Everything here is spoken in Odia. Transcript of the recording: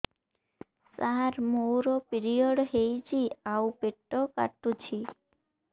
ସାର ମୋର ପିରିଅଡ଼ ହେଇଚି ଆଉ ପେଟ କାଟୁଛି